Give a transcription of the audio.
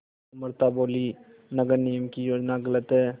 अमृता बोलीं नगर निगम की योजना गलत है